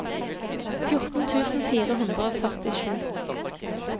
fjorten tusen fire hundre og førtisju